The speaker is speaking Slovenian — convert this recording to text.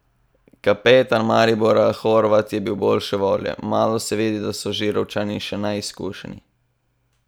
Kapetan Maribora Horvat je bil boljše volje: "Malo se vidi, da so Žirovničani še neizkušeni.